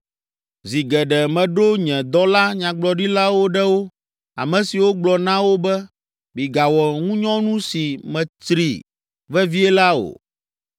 Zi geɖe meɖo nye dɔla nyagblɔɖilawo ɖe wo, ame siwo gblɔ na wo be, ‘Migawɔ ŋunyɔnu si metsri vevie la o!’